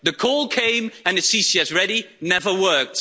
The coal came and the CCS ready never worked.